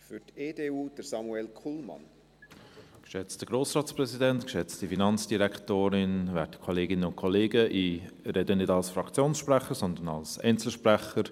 Ich spreche nicht als Fraktionssprecher, sondern als Einzelsprecher.